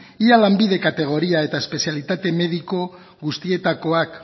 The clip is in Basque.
ia lanbide kategoria eta espezialitate mediko guztietakoak